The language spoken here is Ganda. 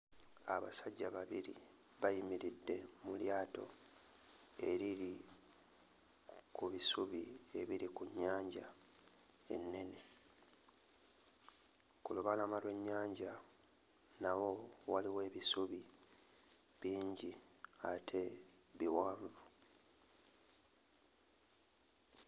Abasajja babiri bayimiridde mu lyato eriri ku bisubi ebiri ku nnyanja ennene. Ku lubalama lw'ennyanja nawo waliwo ebisubi bingi ate biwanvu.